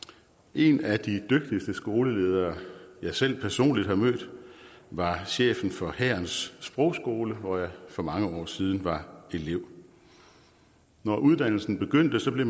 en af de dygtigste skoleledere jeg selv personligt har mødt var chefen for hærens sprogskole hvor jeg for mange år siden var elev når uddannelsen begyndte blev